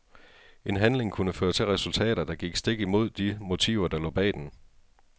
En handling kunne føre til resultater, der gik stik imod de motiver der lå bag den.